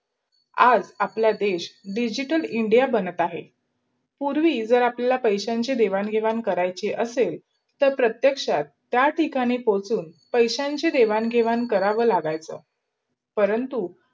आज आपला देश digital india बनत अहे. पूर्वी झर आपल्याला पैसेंची देवांन् विहवणं करायची अशेल तर प्रत्येक् चा त्या ठिकाणी पोचून पैसेंची देवान घेवाण करावा लागायचा. परंतु